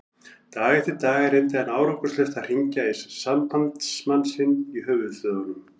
Dag eftir dag reyndi hann árangurslaust að hringja í sambandsmann sinn í höfuðstöðvum